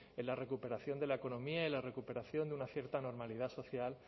en la recuperación de la economía y la recuperación de una cierta normalidad social